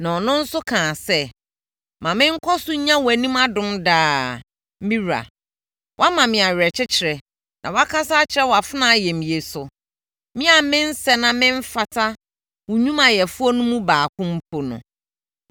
Na ɔno nso kaa sɛ, “Ma menkɔ so nnya wʼanim adom daa, me wura. Woama me awerɛkyekyerɛ na woakasa akyerɛ wʼafenaa ayamyɛ so, me a mensɛ na memfata wo nnwumayɛfoɔ no mu baako mpo no.”